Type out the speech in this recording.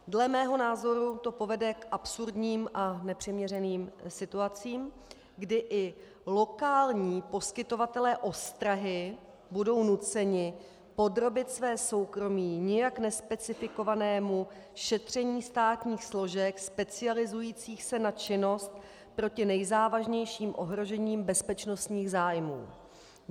Dle mého názoru to povede k absurdním a nepřiměřeným situacím, kdy i lokální poskytovatelé ostrahy budou nuceni podrobit své soukromí nijak nespecifikovanému šetření státních složek specializujících se na činnost proti nejzávažnějším ohrožením bezpečnostních zájmů.